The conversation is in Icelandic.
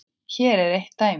Hér er eitt dæmi.